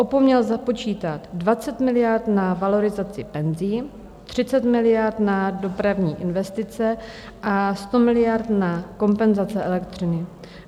Opomněl započítat 20 miliard na valorizaci penzí, 30 miliard na dopravní investice a 100 miliard na kompenzace elektřiny.